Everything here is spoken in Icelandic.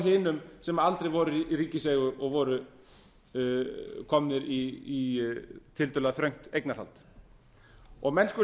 hinum sem aldrei voru í ríkiseigu og voru komnir í tiltölulega langt eignarhald menn skulu